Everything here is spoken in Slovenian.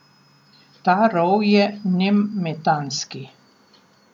Ta rov je nemetanski.